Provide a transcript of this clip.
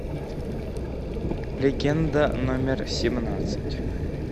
легенда номер семнадцать